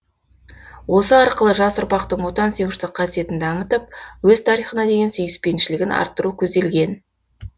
осы арқылы жас ұрпақтың отансүйгіштік қасиетін дамытып өз тарихына деген сүйіспеншілігін арттыру көзделген